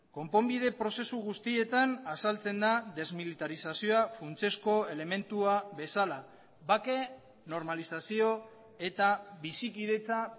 konponbide prozesu guztietan azaltzen da desmilitarizazioa funtsezko elementua bezala bake normalizazio eta bizikidetza